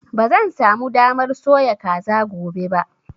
Ba zan sa mu damar soya kaza gobe ba